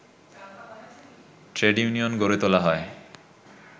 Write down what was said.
trade union গড়ে তোলা হয়